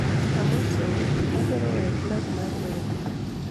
Amosou, adwaro weyo plag mar wemo